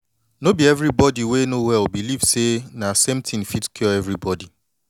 no be everybody wey no well believe say na same thin fit cure everybody